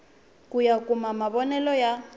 ku ya kuma mavonele ya